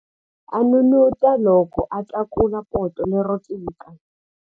A n'unun'uta loko a tlakula poto lero tika.